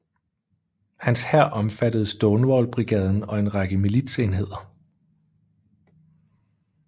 Hans hær omfattede Stonewall Brigaden og en række militsenheder